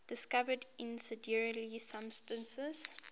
discovered incendiary substance